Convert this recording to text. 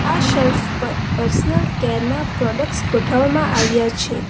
આ શેલ્ફ પર personal care ના પ્રોડક્ટસ ગોઠવવામાં આવ્યા છે.